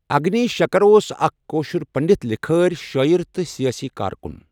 اَگنی شؠکَر اۄس اَکھہ کٲشُر پنٛڈِت لِکھٲرؠ، شٲعِر، تہٕ سِیٲسی کار کُن